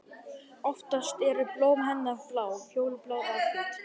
Oftast eru blóm hennar blá, fjólublá eða hvít.